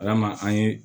Ala ma an ye